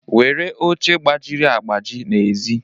were oche gbajiri agbaji n'èzí